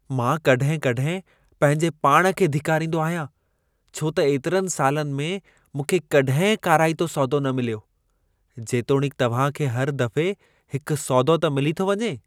मां कॾहिं-कॾहिं पंहिंजे पाण खे धिकारींदो आहियां, छो त एतिरनि सालनि में मूंखे कॾहिं काराइतो सौदो न मिलियो, जेतोणीकि तव्हां खे हर दफ़े हिकु सौदो त मिली थो वञे।